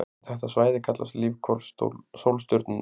Þetta svæði kallast lífhvolf sólstjörnunnar.